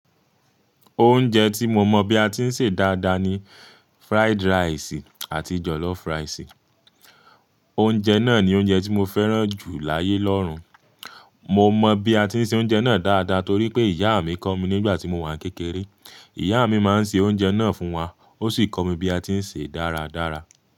Oúnjẹ tí mo mọ̀ bí a ti ń sè dáadáa ni fried rice àti jollof rice. Oúnjẹ náà ni oúnjẹ tí mo fẹ́ràn jù láyé lọ́rùn. Mo mọ̀ bí a ti ń se oúnjẹ náà dáadáa torí pé ìyá mi kọ́ mi nígbà tí mo wà ní kékeré. Ìyá mi máa ń ṣe oúnjẹ náà fún wa, ó sì kọ́ mi bí a ti ń sè é dáradára.